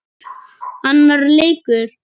Annar leikur